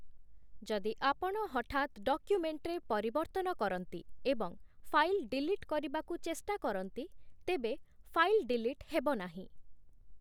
ଯଦି ଆପଣ ହଠାତ୍ ଡକ୍ୟୁମେଣ୍ଟରେ ପରିବର୍ତ୍ତନ କରନ୍ତି ଏବଂ ଫାଇଲ୍ ଡିଲିଟ୍ କରିବାକୁ ଚେଷ୍ଟା କରନ୍ତି, ତେବେ ଫାଇଲ୍ ଡିଲିଟ୍ ହେବ ନାହିଁ ।